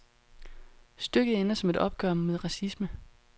Stykket ender som et opgør med racisme.